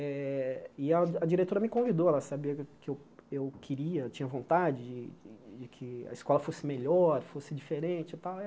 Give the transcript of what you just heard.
Eh e a a diretora me convidou, ela sabia que eu que eu eu queria, tinha vontade de de que a escola fosse melhor, fosse diferente e tal. Aí ela